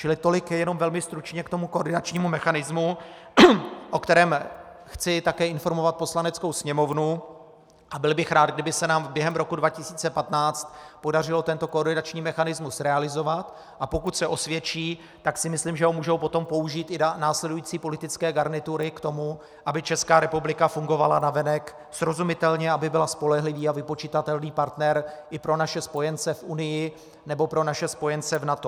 Čili tolik jenom velmi stručně k tomu koordinačnímu mechanismu, o kterém chci také informovat Poslaneckou sněmovnu, a byl bych rád, kdyby se nám během roku 2015 podařilo tento koordinační mechanismus realizovat, a pokud se osvědčí, tak si myslím, že ho potom mohou použít i následující politické garnitury k tomu, aby Česká republika fungovala navenek srozumitelně, aby byla spolehlivý a vypočitatelný partner i pro naše spojence v Unii nebo pro naše spojence v NATO.